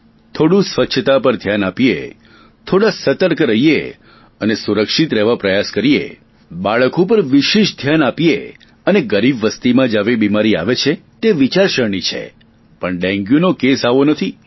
થોડું સ્વચ્છતા પર ધ્યાન આપીએ થોડા સતર્ક રહીએ અને સુરક્ષિત રહેવા પ્રયાસ કરીએ બાળકો પર વિશેષ ધ્યાન આપીએ અને ગરીબ વસતીમાં જ આવી બીમારી આવે છે તે વિચારશરણી છે પણ ડેન્ગ્યુનો કેસ આવો નથી